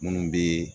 Minnu bɛ